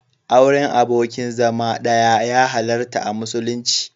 Auren abokin zama ɗaya ya halarta a musulunci.